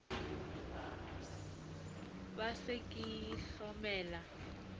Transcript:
sa se ke sa hlokomela